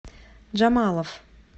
джамалов